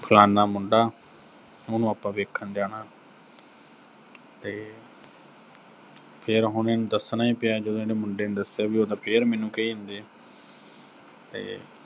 ਫਲਾਨਾ ਮੁੰਡਾ ਤੇ ਉਹਨੂੰ ਆਪਾਂ ਦੇਖਣ ਜਾਨਾ, ਤੇ ਫਿਰ ਹੁਣ ਇਹਨੂੰ ਦੱਸਣਾ ਈ ਪਿਆ, ਜਦੋਂ ਇਹਨੇ ਮੁੰਡੇ ਨੂੰ ਦੱਸਿਆ ਵੀ ਉਹ ਤਾਂ ਫੇਰ ਮੈਨੂੰ ਕਹੀ ਜਾਂਦੇ ਆ ਤੇ